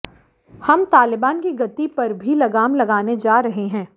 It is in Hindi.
हम तालिबान की गति पर भी लगाम लगाने जा रहे हैं